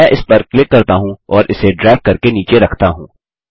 मैं इस पर क्लिक करता हूँ और इसे ड्रैग करके नीचे रखता हूँ